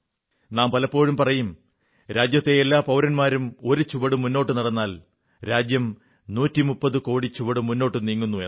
നാം പലപ്പോഴും പറയും രാജ്യത്തെ എല്ലാ പൌരന്മാരും ഒരു ചുവടു മുന്നോട്ടു നടന്നാൽ രാജ്യം 130 കോടി ചുവട് മുന്നോട്ടു നീങ്ങുന്നു എന്ന്